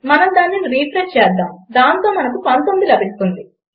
మనం దానిని రిఫ్రెష్ చేద్దాము దాంతో మనకు 19 లభించగలదు